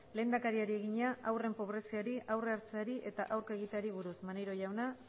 lehendakariari egina haurren pobreziari aurre hartzeari eta aurka egiteari buruz maneiro jauna